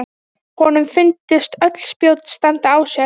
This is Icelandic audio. Honum fundust öll spjót standa á sér.